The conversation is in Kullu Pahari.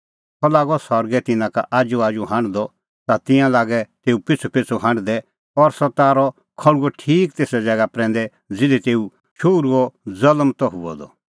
सह लागअ सरगै तिन्नां का आजूआजू हांढदअ ता तिंयां लागै तेऊ पिछ़ूपिछ़ू हांढदै और सह तारअ खल़्हुअ ठीक तेसा ज़ैगा प्रैंदै ज़िधी तेऊ शोहरूओ ज़ल्म त हुअ द